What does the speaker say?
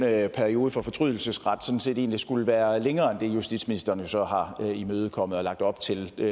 at perioden for fortrydelsesret sådan set egentlig skulle være længere end det justitsministeren så har imødekommet og lagt op til det